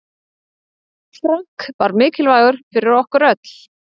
Frank var mikilvægur fyrir okkur.